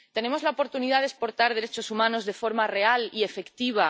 Tenemos la oportunidad de exportar derechos humanos de forma real y efectiva.